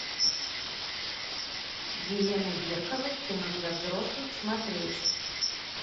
елена беркова кино для взрослых смотреть